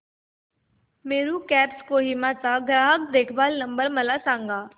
Meru cabs Kohima चा ग्राहक देखभाल नंबर मला सांगा